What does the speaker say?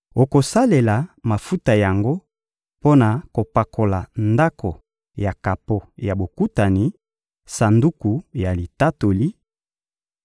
Okosalela mafuta yango mpo na kopakola Ndako ya kapo ya Bokutani, Sanduku ya Litatoli,